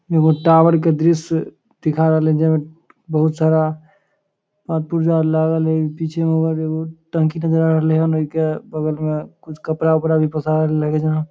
एगो टावर के दृश्य दिखा रहलेन जेई में बहुत सारा पार्ट-पुर्जा लागल है पीछे में और एगो टंकी नजर आब रहलेन या ओके बगल में कुछ कपड़ा वपड़ा भी पसारल लगे जना।